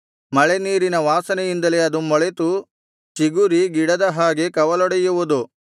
ಮಳೆ ನೀರಿನ ವಾಸನೆಯಿಂದಲೇ ಅದು ಮೊಳೆತು ಚಿಗುರಿ ಗಿಡದ ಹಾಗೆ ಕವಲೊಡೆಯುವುದು